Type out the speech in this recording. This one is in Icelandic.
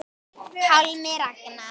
Pálmi Ragnar.